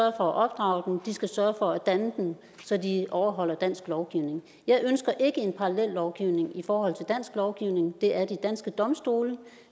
at opdrage dem de skal sørge for at danne dem så de overholder dansk lovgivning jeg ønsker ikke en parallellovgivning i forhold til dansk lovgivning det er de danske domstole